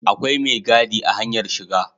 Akwai mai gadi a hanyar shiga